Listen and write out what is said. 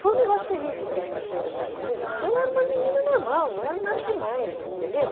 Foi um negócio terrível que essa freira fez comigo, porque eu era uma menina normal, não era nada demais, entendeu?